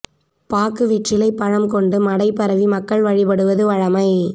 பாக்கு வெற்றிலை பழம் கொண்டு மடை பரவி மக்கள் வழிபடுவது வழமை